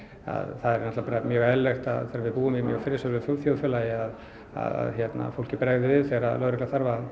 það er mjög eðlilegt þegar við búum í friðsömu þjóðfélagi að fólki bregði við þegar lögregla þarf að